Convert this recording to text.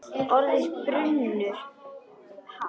Orðin brunnu hratt.